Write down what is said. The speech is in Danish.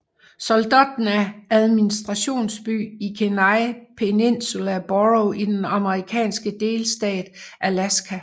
Soldotna er administrationsby i Kenai Peninsula Borough i den amerikanske delstat Alaska